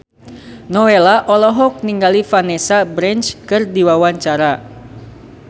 Nowela olohok ningali Vanessa Branch keur diwawancara